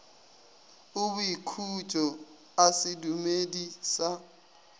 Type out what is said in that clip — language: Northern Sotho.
a boikhutšo a sedumedi sa